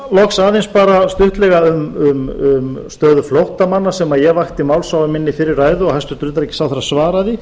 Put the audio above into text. ég vil að lokum fjalla stuttlega um stöðu flóttamanna ég vakti máls á henni í fyrri ræðu minni og hæstvirtur utanríkisráðherra svaraði